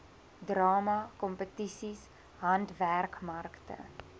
drama kompetisies handwerkmarkte